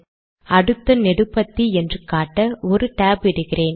அடுத்த நெடுபத்தி என்று காட்ட ஒரு tab இடுகிறேன்